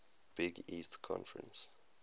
big east conference